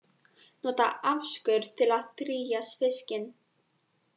Nota afskurð til að drýgja fiskinn